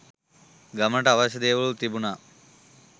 ගමනට අවශ්‍ය දේවලූත් තිබුණා.